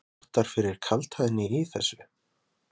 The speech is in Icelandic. Jónas Margeir Ingólfsson: Vottar fyrir kaldhæðni í þessu?